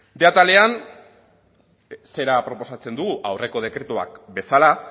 bostehun atalean zera proposatzen dugu aurreko dekretuak bezala